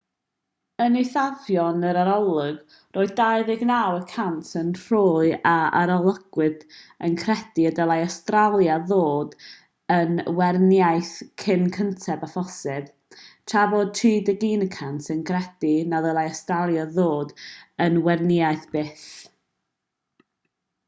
yn eithafion yr arolwg roedd 29 y cant o'r rhai a arolygwyd yn credu y dylai awstralia ddod yn weriniaeth cyn gynted â phosibl tra bod 31 cant yn credu na ddylai awstralia ddod yn weriniaeth byth